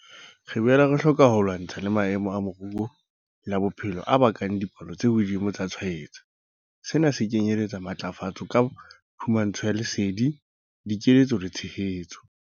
Re boela re hloka ho lwantshana le maemo a moru le a bophelo a bakang dipalo tse hodimo tsa tshwaetso. Sena se kenyeletsa matlafatso ka phumantsho ya lesedi, dikeletso le tshehetso.